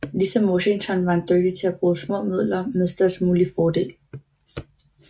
Ligesom Washington var han dygtig til at bruge små midler med størst mulig fordel